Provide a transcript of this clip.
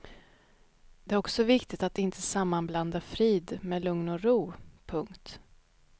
Det är också viktigt att inte sammanblanda frid med lugn och ro. punkt